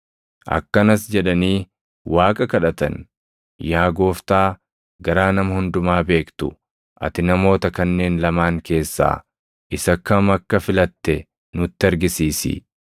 Akkanas jedhanii Waaqa kadhatan; “Yaa Gooftaa garaa nama hundumaa beektu, ati namoota kanneen lamaan keessaa isa kam akka filatte nutti argisiisi;